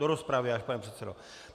Do rozpravy až, pane předsedo .